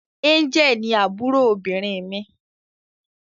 Angel ni àbúrò obìnrin mí.